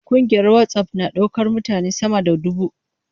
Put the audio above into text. Kungiyar WhatsApp na iya daukar mutane sama da dubu.